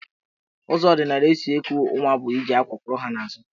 Ụzọ ọdịnala e si eku nwa bụ iji àkwá kwọrọ ha n'azụ.